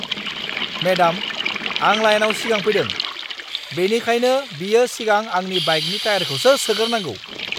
Madam, आं लाइनाव सिगां फैदों, बेनिखायनो बियो सिगां आंनि बाइकनि टायारखौसो सोगोरनांगौ!